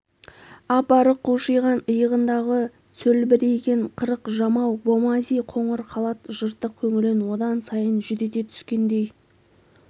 ап-арық қушиған иығындағы сөлбірейген қырық жамау бомази қоңыр халат жыртық көңілін одан сайын жүдете түскендей